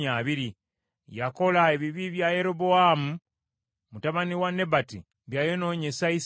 Yakola ebibi bya Yerobowaamu mutabani wa Nebati bye yayonoonyesa Isirayiri.